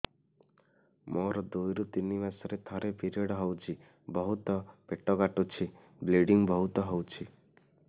ମୋର ଦୁଇରୁ ତିନି ମାସରେ ଥରେ ପିରିଅଡ଼ ହଉଛି ବହୁତ ପେଟ କାଟୁଛି ବ୍ଲିଡ଼ିଙ୍ଗ ବହୁତ ହଉଛି